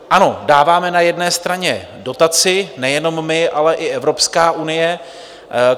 Ano, dáváme na jedné straně dotaci, nejenom my, ale i Evropská unie.